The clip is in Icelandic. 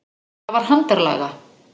Það var handarlaga.